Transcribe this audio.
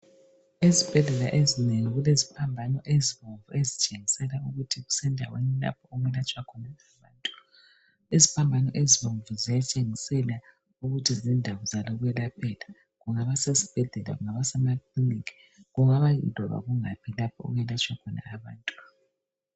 Ezibhedlela ezingeni kuleziphambano ezitshengisela ukuthi kusendaweni lapho okulatshwa khona abantu. Iziphambano ezibomvu zitshengisela ukuthi zindawo zokwelaphela. Kungaba yesibhedlela kungaba semakiliniki kungaba kumbe kungaphi lapho okwelatshwa khona abantu.